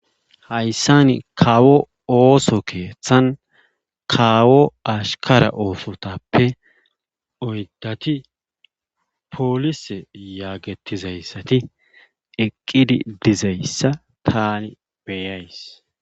Hayssani kawo ooso keehthan kawo ashkara oosotappe oydati polise yagetizassati eqqidi dizayssa taani be'ays.